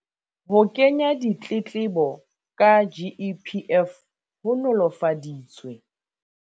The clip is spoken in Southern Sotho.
Ho kenya ditletlebo ka GEPF ho nolofaditswe